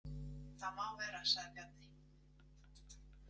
Það má vera, sagði Bjarni.